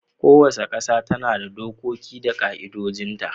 Kowace kasa tana da dokoki da ka'idojin ta